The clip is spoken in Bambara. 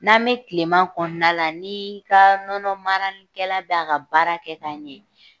N'an bɛ tileman kɔnɔna la ni ka nɔnɔmarikɛla bɛ a ka baara kɛ ka ɲɛ